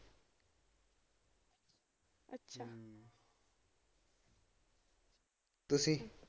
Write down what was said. ਤੁਸੀ?